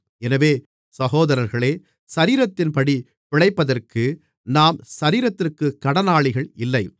எனவே சகோதரர்களே சரீரத்தின்படி பிழைப்பதற்கு நாம் சரீரத்திற்குக் கடனாளிகள் இல்லை